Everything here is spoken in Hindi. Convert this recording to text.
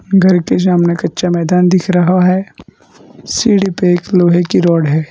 घर के सामने कच्चा मैदान दिख रहा है। सीढ़ी पर एक लोहे की रॉड है।